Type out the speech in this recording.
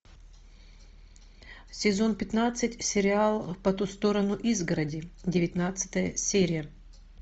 сезон пятнадцать сериал по ту сторону изгороди девятнадцатая серия